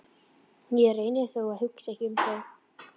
Ég reyni þó að hugsa ekki um það.